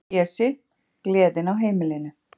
Pési, gleðin á heimilinu.